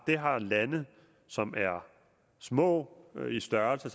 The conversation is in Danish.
det har lande som er små i størrelse